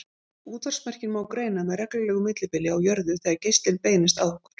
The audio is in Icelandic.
Útvarpsmerkin má greina með reglulegu millibili á jörðu þegar geislinn beinist að okkur.